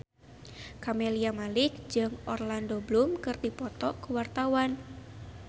Camelia Malik jeung Orlando Bloom keur dipoto ku wartawan